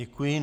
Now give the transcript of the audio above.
Děkuji.